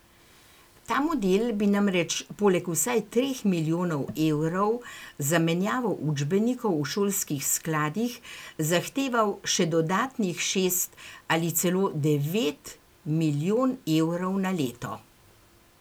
Ta model bi namreč poleg vsaj treh milijonov evrov za menjavo učbenikov v šolskih skladih zahteval še dodatnih šest ali celo devet milijon evrov na leto.